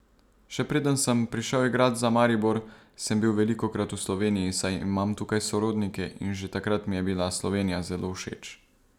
Še preden sem prišel igrat za Maribor, sem bil velikokrat v Sloveniji, saj imam tukaj sorodnike in že takrat mi je bila Slovenija zelo všeč.